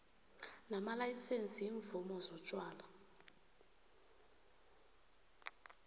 namalayisense iimvumo zotjwala